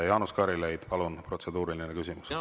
Jaanus Karilaid, palun, protseduuriline küsimus!